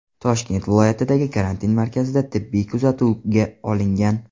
Toshkent viloyatidagi karantin markazida tibbiy kuzatuvga olingan.